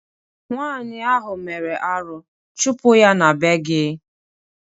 Nwaanyị ahụ mere arụ, chụpụ ya n'be gị!